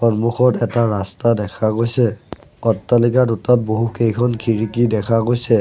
সন্মুখত এটা ৰাস্তা দেখা গৈছে অট্টালিকা দুটাত বহুকেইখন খিৰিকী দেখা গৈছে।